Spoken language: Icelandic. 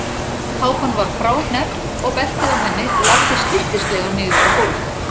Kápan var fráhneppt og beltið á henni lafði slyttislega niður á gólf.